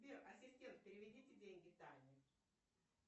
сбер ассистент переведите деньги тане